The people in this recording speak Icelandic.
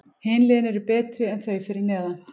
Hin liðin eru betri en þau fyrir neðan.